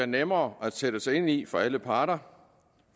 nemmere at sætte sig ind i for alle parter